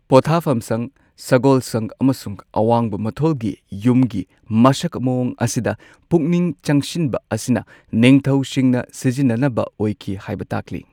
ꯄꯣꯊꯥꯐꯝ ꯁꯪ ꯁꯒꯣꯜꯁꯪ ꯑꯃꯁꯨꯡ ꯑꯋꯥꯡꯕ ꯃꯊꯣꯜꯒꯤ ꯌꯨꯝꯒꯤ ꯃꯁꯛ ꯃꯑꯣꯡ ꯑꯁꯤꯗ ꯄꯨꯛꯅꯤꯡ ꯆꯪꯁꯤꯟꯕ ꯑꯁꯤꯅ ꯅꯤꯡꯊꯧꯁꯤꯡꯅ ꯁꯤꯖꯤꯟꯅꯅꯕ ꯑꯣꯏꯈꯤ ꯍꯥꯏꯕ ꯇꯥꯛꯂꯤ꯫